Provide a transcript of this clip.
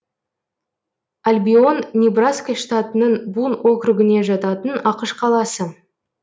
албион небраска штатының бун округіне жататын ақш қаласы